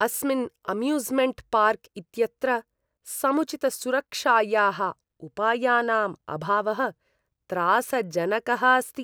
अस्मिन् amusement park इत्यत्र समुचितसुरक्षायाः उपायानाम् अभावः त्रासजनकः अस्ति।